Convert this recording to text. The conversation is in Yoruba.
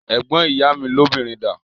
Ẹ̀gbọ́n ìyá mi lóbìnrin dà?